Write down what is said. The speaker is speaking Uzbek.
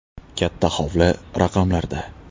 Katta hovli raqamlarda.